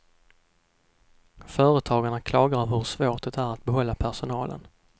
Företagarna klagar över hur svårt det är att behålla personalen.